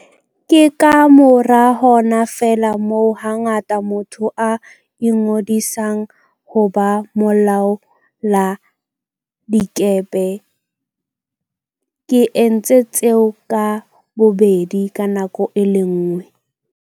Ke kamora hona feela moo hangata motho a ingodisang ho ba molaoladikepe. Ke entse tseo ka bobedi ka nako e le nngwe.